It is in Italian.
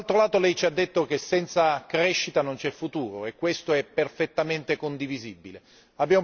Ma dall'altro lato lei ci ha detto che senza crescita non c'è futuro e questo è perfettamente condivisibile.